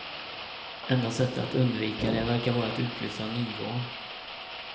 Enda sättet att undvika det verkar vara att utlysa nyval.